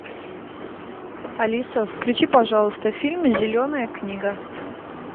алиса включи пожалуйста фильм зеленая книга